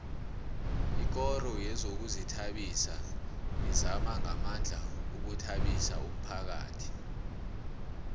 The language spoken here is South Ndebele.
ikoro yezokuzithabisa izama ngamandla ukuthabisa umphakhathi